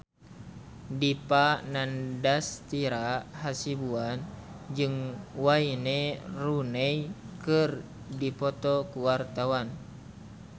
Dipa Nandastyra Hasibuan jeung Wayne Rooney keur dipoto ku wartawan